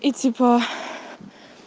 и типа